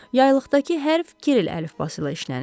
Yaylıqdakı hərf kiril əlifbası ilə işlənib.